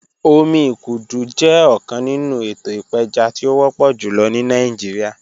Omi ikudu jẹ ọkan ninu eto ipeja ti o wọpọ julọ ni Nigeria